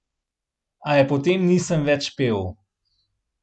A je po tem nisem več pel.